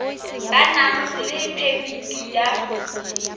ba nang le phemiti ya